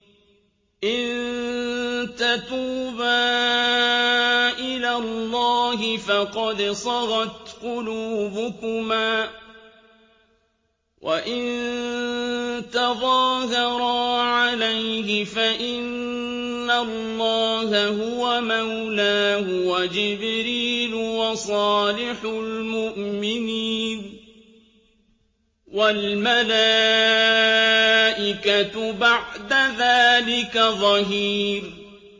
إِن تَتُوبَا إِلَى اللَّهِ فَقَدْ صَغَتْ قُلُوبُكُمَا ۖ وَإِن تَظَاهَرَا عَلَيْهِ فَإِنَّ اللَّهَ هُوَ مَوْلَاهُ وَجِبْرِيلُ وَصَالِحُ الْمُؤْمِنِينَ ۖ وَالْمَلَائِكَةُ بَعْدَ ذَٰلِكَ ظَهِيرٌ